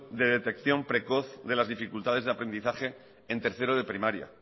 de detección precoz de las dificultades de aprendizaje en tercero de primaria